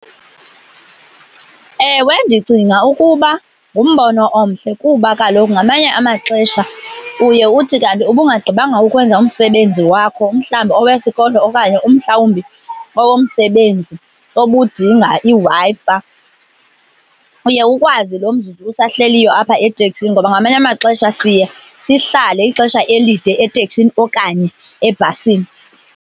Ewe, ndicinga ukuba ngumbono omhle kuba kaloku ngamanye amaxesha uye uthi kanti ubungaggqibanga ukwenza umsebenzi wakho, mhlawumbi owesikolo okanye umhlawumbi owomsebenzi obudinga iWi-Fi. Uye ukwazi lo mzuzu usahleliyo apha eteksini ngoba ngamanye amaxesha siye sihlale ixesha elide eteksini okanye ebhasini.